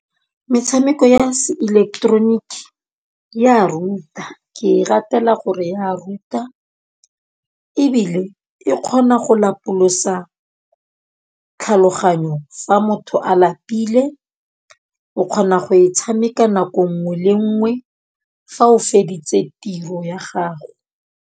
Metshameko ya se ileketeroniki ya ruta, ke e ratela gore ya ruta ebile e kgona go lapolosa tlhaloganyo fa motho a lapile. O kgona go e tshameka nako 'nngwe le 'nngwe fa o feditse tiro ya gago.